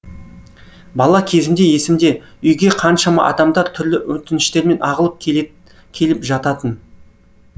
бала кезімде есімде үйге қаншама адамдар түрлі өтініштермен ағылып келіп жататын